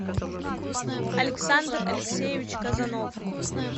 александр алексеевич казанов